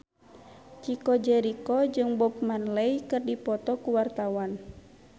Chico Jericho jeung Bob Marley keur dipoto ku wartawan